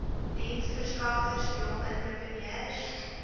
diensverskaffers jong entrepreneurs